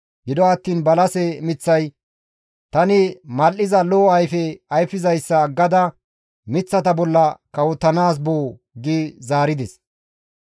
Gido attiin balase miththay, ‹Tani mal7iza lo7o ayfe ayfizayssa aggada miththata bolla kawotanaas boo?› gi zaarides.